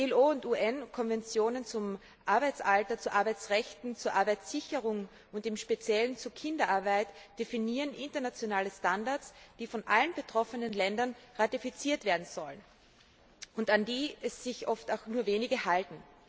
ILO und UN Konventionen zum Arbeitsalter, zu Arbeitsrechten, zur Arbeitssicherheit und im Speziellen zu Kinderarbeit definieren internationale Standards, die von allen betroffenen Ländern ratifiziert werden sollen und an die sich oft nur wenige halten.